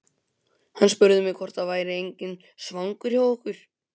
Hann spurði mig hvort það væri enginn svangur hjá okkur.